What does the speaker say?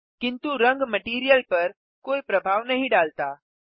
किन्तु रंग मटैरियल पर कोई प्रभाव नहीं डालता